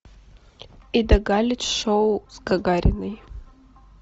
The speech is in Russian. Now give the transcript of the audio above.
ида галич шоу с гагариной